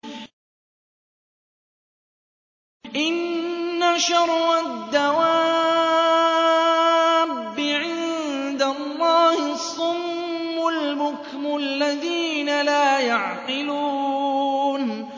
۞ إِنَّ شَرَّ الدَّوَابِّ عِندَ اللَّهِ الصُّمُّ الْبُكْمُ الَّذِينَ لَا يَعْقِلُونَ